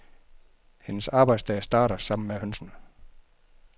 Hendes arbejdsdag starter sammen med hønsene.